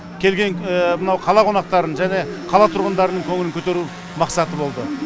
келген мынау қала қонақтарының және қала тұрғындарының көңілін көтеру мақсаты болды